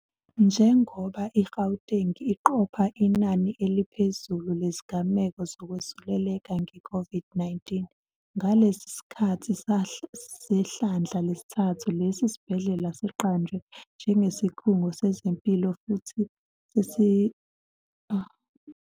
Njengoba i-Gauteng iqopha inani eliphezulu lezigameko zokwesuleleka nge-COVID-19 ngalesi sikhathi sehlandla lesithathu, lesi sibhedlela siqanjwe njengesikhungo sezempilo sesifundazwe futhi manje sesibhekele ukusiza iziguli ezihaqwe yi-COVID-19.